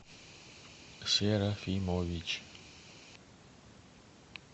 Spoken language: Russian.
серафимович